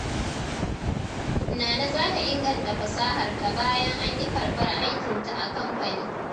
Nana za ta inganta fasaharta bayan an ƙi karɓar aikinta a kamfani.